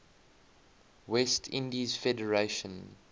west indies federation